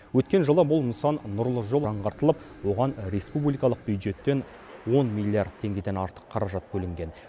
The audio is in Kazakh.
өткен жылы бұл нысан нұрлы жол жаңғыртылып оған республикалық бюджеттен он миллиард теңгеден артық қаражат бөлінген